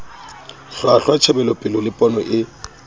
hlwahlwa tjhebelopele le pono e